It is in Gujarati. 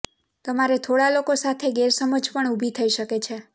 તમારે થોડાં લોકો સાથે ગેરસમજ પણ ઊભી થઇ શકે છે